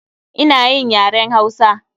Ina yin yaren Hausa.